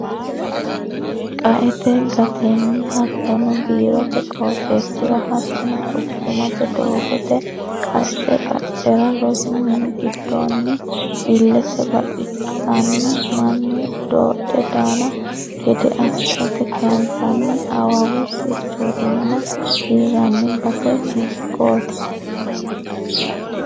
Qaete gatenni hattono biirote qooxeesira hattono quchumate doogote qacce qaccera rosu mina giddonni ilete baxisenna mannu dodhe daano gede assate kayinsanni awawu sirchotinna, hiranni base hiikkoti ?